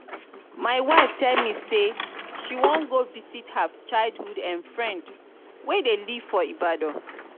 my wife tell me say she wan go visit her childhood um friend wey dey live for ibadan